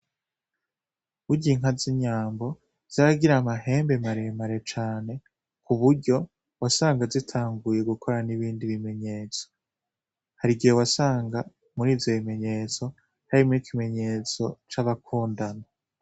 Burya inka z’inyambo zigira amahembe maremare cane ku buryo wasanga zitanguye gukora n’ibindi bimenyetso . Harigihe wasanga muri ivyo bimenyetso harimwo ikimenyetso c’abakundana.